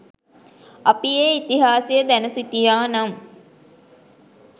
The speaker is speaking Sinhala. අපි ඒ ඉතිහාසය දැන සිටියා නම්